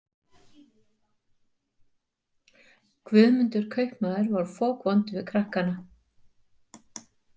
Guðmundur kaupmaður var fokvondur við krakkana.